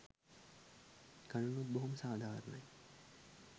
ගණනුත් බොහෝම සාධාරණයි.